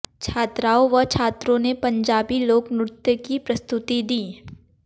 छात्राओं व छात्रों ने पंजाबी लोक नृत्य की प्रस्तुति दी